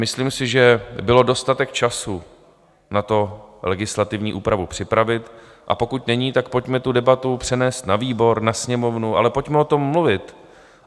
Myslím si, že byl dostatek času na to legislativní úpravu připravit, a pokud není, tak pojďme tu debatu přenést na výbor, na Sněmovnu, ale pojďme o tom mluvit.